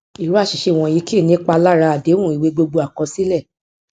irúfẹ àṣìṣe wọnyí kì í nípa lára àdéhùn ìwé gbogbo àkọsílẹ